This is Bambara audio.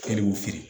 Kɛliw feere